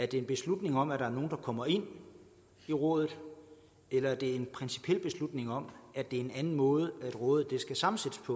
det en beslutning om at der er nogle der kommer ind i rådet eller er det en principiel beslutning om at det er en anden måde rådet skal sammensættes på